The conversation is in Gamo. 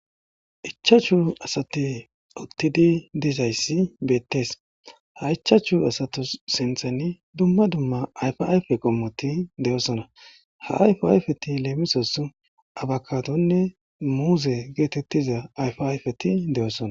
ichachu asate uttidi dizayssi beettees ha ichachu asatus sinthan dumma dumma ayfe ayfe qommoti de7oosona ha ayfe ayfeti leemisos abakatonne muuze geetettiza ayfe ayfeti de7oosona